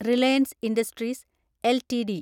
Reliance Industries LTD